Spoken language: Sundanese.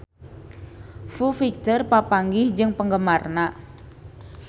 Foo Fighter papanggih jeung penggemarna